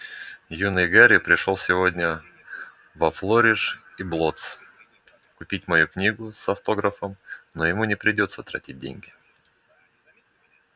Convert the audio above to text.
юный гарри пришёл сегодня во флориш и блоттс купить мою книгу с автографом но ему не придётся тратить деньги